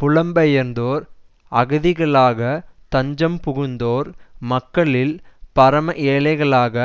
புலம்பெயர்ந்தோர் அகதிகளாக தஞ்சம் புகுந்தோர் மக்களில் பரம ஏழைகளாக